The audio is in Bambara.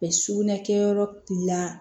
sugunɛ kɛ yɔrɔ la